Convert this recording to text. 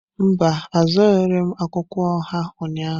Mba, azụrụghị m akwụkwọ oha ụnyahụ.